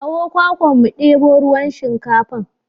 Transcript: Kawo kwakwan mu ɗebo ruwan shinkafar.